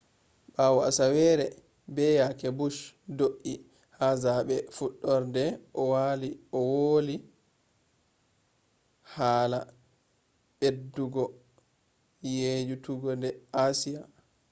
ɓawo aseere be yake bush do’i ha zaaɓe fuɗɗorde o woli hala ɓeddugo yeeyude ha asiya